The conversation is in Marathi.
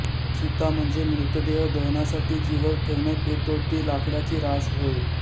चिता म्हणजे मृतदेह दहनासाठी जीवर ठेवण्यात येतो ती लाकडाची रास होय